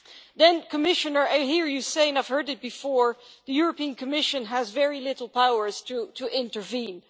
Then, Commissioner, I hear what you're saying, I've heard it before the European Commission has very little powers to intervene.